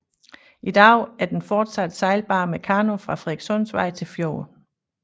I dag er den fortsat sejlbar med kano fra Frederikssundsvej til fjorden